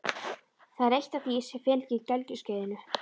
Það er eitt af því sem fylgir gelgjuskeiðinu.